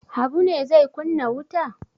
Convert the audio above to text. Habu ne zai kunna wuta?